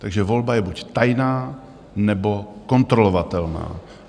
Takže volba je buď tajná, nebo kontrolovatelná.